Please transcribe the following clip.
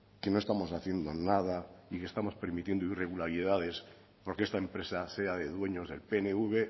que no estamos haciendo nada y que estamos permitiendo irregularidades porque esta empresa sea de dueños del pnv